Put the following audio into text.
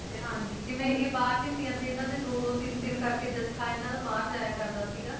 ਤੇ ਹਾਂ ਜੀ ਗੋਲੀ ਇਹ ਬਾਹਰ ਨਹੀਂ ਸੀ ਆਉਂਦੀ ਇਹਨਾਂ ਦਾ ਦੋ ਦੋ ਤਿੰਨ ਤਿੰਨ ਕਰਕੇ ਜੱਥਾ ਇਨ੍ਹਾਂ ਦਾ ਬਾਹਰ ਜਾਇਆ ਕਰਦਾ ਸੀਗਾ ਤੇ